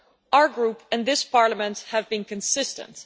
Our group, and this Parliament, have been consistent.